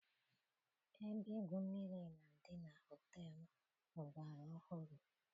Ebe igwu mmiri na-adị na họteelu ọgbara ọhụrụ.